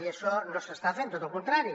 i això no s’està fent tot al contrari